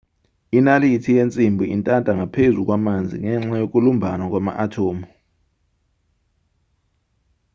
inalithi yensimbi intanta ngaphezu kwamanzi ngenxa yokulumbana kwama-athomu